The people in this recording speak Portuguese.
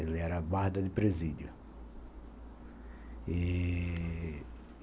Ele era guarda de presídio.